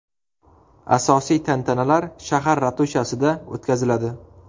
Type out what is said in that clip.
Asosiy tantanalar shahar ratushasida o‘tkaziladi.